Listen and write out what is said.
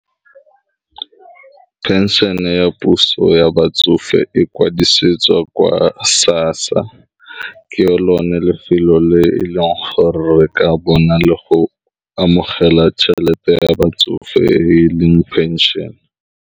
Pension-e ya puso ya batsofe e kwadisetsa kwa SASSA ke yo lone lefelo le e leng gore re ka bona le go amogela tšhelete ya batsofe e leng pension.